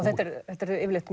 þetta eru yfirleitt